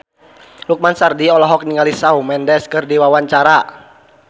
Lukman Sardi olohok ningali Shawn Mendes keur diwawancara